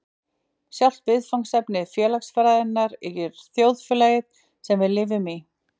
Sjálft viðfangsefni félagsfræðinnar er þjóðfélagið, sem við lifum í.